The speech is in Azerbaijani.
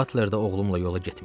Butler də oğlumla yola getmirdi.